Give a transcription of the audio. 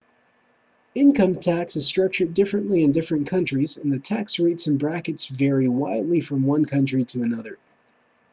income tax is structured differently in different countries and the tax rates and brackets vary widely from one country to another